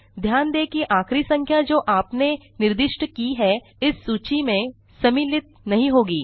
ध्यान दें कि आखिरी संख्या जो आपने निर्दिष्ट की है इस सूची में सम्मिलित नहीं होगी